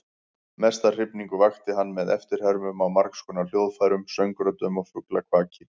Mesta hrifningu vakti hann með eftirhermum á margskonar hljóðfærum, söngröddum og fuglakvaki.